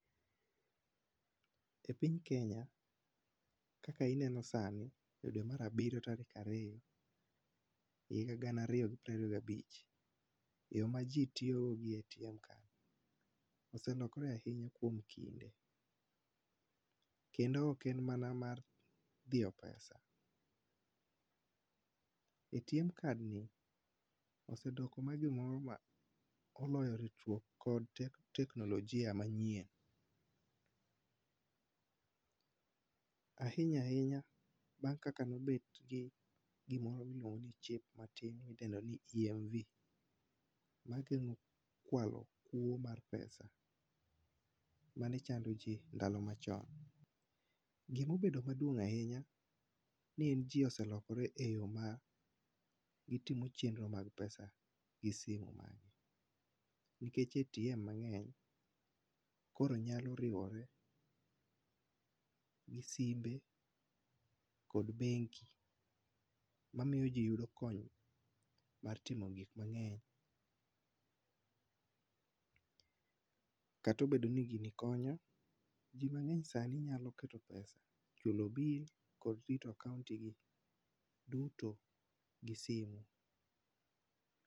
E piny Kenya, kaka ineno sani, e dwe mar abiriyo tarik ariyo, higa gana ariyo gi piero abich, yo ma ji tiyo go ATM card, oselokore ahinya kuom kinde. Kendo oken mana mar diyo pesa. ATM card ni, osedok oloyo ritruok kod teknolojia manyien. Ahinya ahinya bang' kaka nobet gi gimoro miluongo ni chip matin modendo ni EMV magengo kwalo kuo mar pesa, manechando ji ndalo machon. Gi mobedo maduong' ahinya ne en ji oselokore e yo ma gitimo chenro mag pesa e simu magi. Nikech ATM mang'eny, koro nyalo riwore gi simbe kod bengi mamiyo ji yudo konymar timo gik mang'eny, kata obedo ni gini konyo, ji mang'eny sani nyalo keto pesa, chulo bill kod rito account gi duto gi simu.